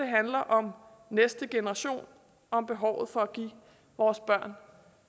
handler om næste generation og behovet for at give vores børn